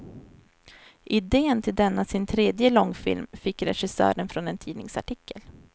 Idén till denna sin tredje långfilm fick regissören från en tidningsartikel.